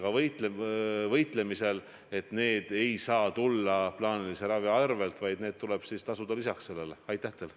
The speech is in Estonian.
Kas te olete seda arutanud ja kui suures mahus te peate võimalikuks neid kulutusi haiglate asemel katta?